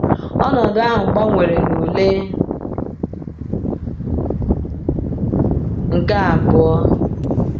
Ọnọdụ ahụ gbanwere na ule nke abụọ.